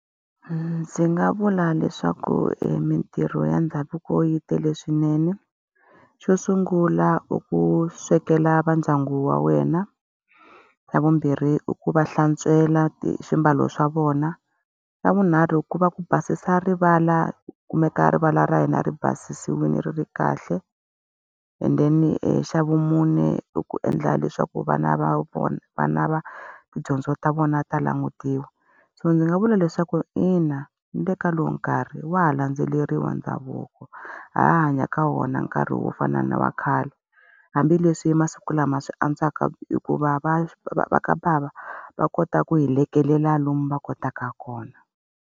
Ndzi nga vula leswaku e mintirho ya ndhavuko yi tele swinene. Xo sungula i ku swekela va ndyangu wa wena, xa vumbirhi i ku va hlantswela swiambalo swa vona, xa vunharhu ku va ku basisa rivala ku kumeka rivala ra hina ri basisiwile, ri ri kahle, and then xa vumune i ku endla leswaku vana va vona vana va tidyondzo ta vona ta laha mutini. So ndzi nga vula leswaku ina ni le ka lowu nkarhi wa ha landzeleriwa ndhavuko, ha ha hanya ka wona nkarhi wo fana na wa khale. Hambileswi masiku lama swi antswaka hikuva va va va va ka bava va kota ku hi lomu va kotaka kona.